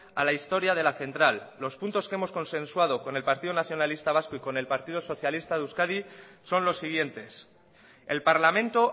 a la historia de la central los puntos que hemos consensuados con el partido nacionalista vasco y con el partido socialista de euskadi son los siguientes el parlamento